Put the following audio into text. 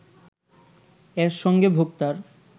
এর সঙ্গে ভোক্তার